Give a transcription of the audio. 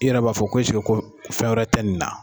I yɛrɛ b'a fɔ ko ko fɛn wɛrɛ tɛ nin na ?